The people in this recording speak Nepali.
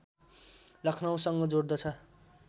लखनऊसँग जोड्दछ